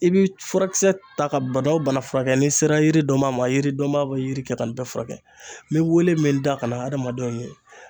I bi furakisɛ ta ka bana wo bana furakɛ n'i sera yiri dɔnbaa ma, yiri dɔnbaa be yiri kɛ ka nin bɛɛ furakɛ. N be wele min da ka na hadamadenw ye